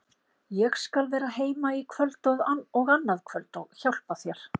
Ég skal vera heima í kvöld og annað kvöld og hjálpa þér.